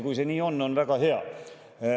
Kui see nii on, on väga hea.